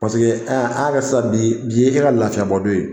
an k'a kɛ sisan bi bi ye e ka lafiɲɛbɔ don ye